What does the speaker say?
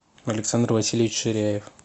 александр васильевич ширяев